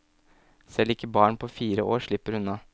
Selv ikke barn på fire år slipper unna.